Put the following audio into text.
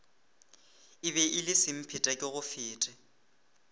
e be e le semphetekegofete